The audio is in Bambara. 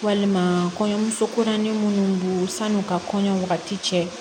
Walima kɔɲɔmuso koronnen minnu don sanu ka kɔɲɔ wagati cɛ